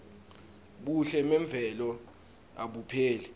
buhle memvelo abupheli